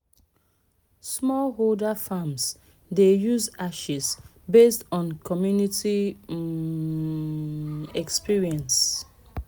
smallholder farms dey use ashes based on community um experience.